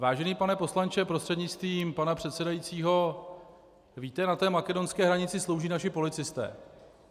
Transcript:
Vážený pane poslanče prostřednictvím pana předsedajícího, víte, na té makedonské hranici slouží naši policisté.